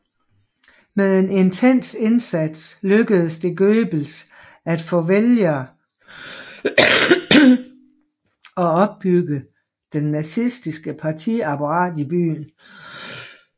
Med en intens indsats lykkedes det Goebbels at få vælgere og opbygge det nazistiske partiapparat i byen